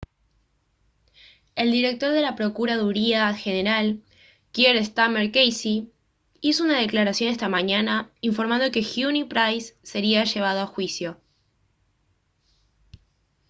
el director de la procuraduría general kier starmer qc hizo una declaración esta mañana informando que huhne y pryce sería llevado a juicio